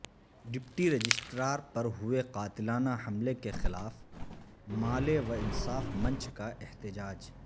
deputy رجسٹرارپرہوئےقاتلانہ حملہ کے خلاف مالے وانصاف منچ کا احتجاج